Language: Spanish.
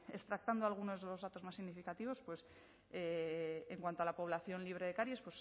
extractando algunos de los datos más significativos pues en cuanto a la población libre de caries